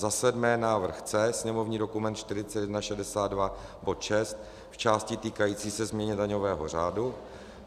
Za sedmé návrh C, sněmovní dokument 4162, bod 6 v části týkající se změny daňového řádu.